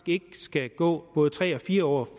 ikke skal gå både tre og fire år